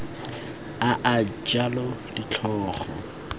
a a jalo ditlhogo di